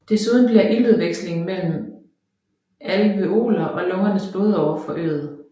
Desuden bliver iltudvekslingen mellem alveoler og lungernes blodårer forøget